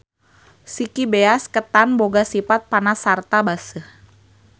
Siki beas ketan boga sipat panas sarta baseuh.